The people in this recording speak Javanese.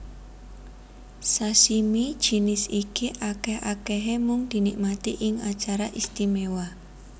Sashimi jinis iki akèh akèhé mung dinikmati ing acara istimewa